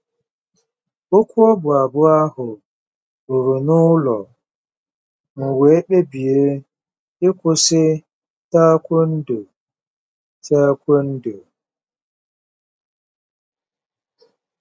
Okwu ọbụ abụ ahụ ruru n'ụlọ, m wee kpebie ịkwụsị tae kwondo. tae kwondo.